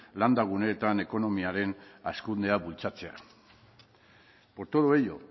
landa guneetan ekonomiaren hazkundea bultzatzea por todo ello